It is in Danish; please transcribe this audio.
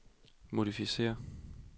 modificér